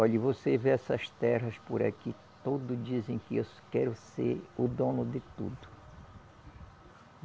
Olhe, você vê essas terras por aqui, todos dizem que eu quero ser o dono de tudo.